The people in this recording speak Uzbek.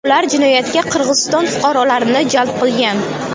Ular jinoyatga Qirg‘iziston fuqarolarini jalb qilgan.